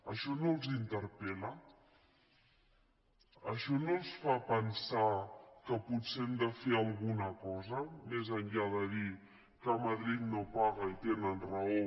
això no els interpel·la això no els fa pensar que potser hem de fer alguna cosa més enllà de dir que madrid no paga i tenen raó